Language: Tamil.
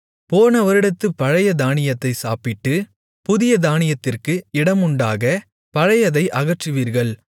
போன வருடத்துப் பழைய தானியத்தைச் சாப்பிட்டு புதிய தானியத்திற்கு இடமுண்டாக பழையதை அகற்றுவீர்கள்